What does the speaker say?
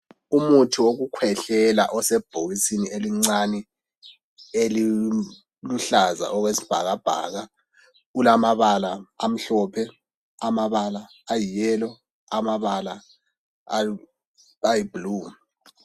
Umuthi wokukhwehlela osebhokisini elincane eliluhlaza okwesibhakabhaka ulamabala amhlophe amabala ayi yellow amabala ayisibhakabhaka.